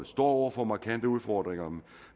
står over for markante udfordringer